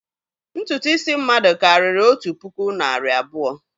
Ntutu isi mmadụ karịrị otu puku nari abuo